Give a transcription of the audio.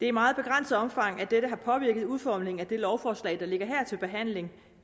i meget begrænset omfang dette har påvirket udformningen af det lovforslag der ligger her til behandling